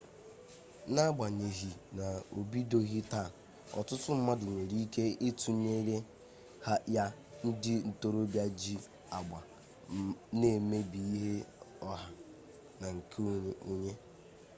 n'agbanyeghị na obidoghị taa ọtụtụ mmadụ nwere ike itunyenyere ya ndị ntorobịa ji agba na-emebi ihe ọha na nke onye